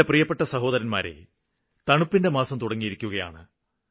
എന്റെ പ്രിയപ്പെട്ട സഹോദരരേ തണുപ്പിന്റെ മാസം തുടങ്ങിയിരിക്കുകയാണ്